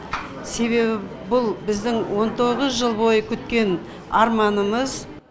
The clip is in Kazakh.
себебі бұл біздің он тоғыз жыл бойы күткен арманымыз